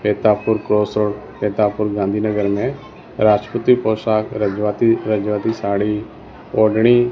Mitapur crossroad Mitapur Gandhinagar में राजपूती पोशाक रजवाती रजवाती साड़ी ओढ़नी।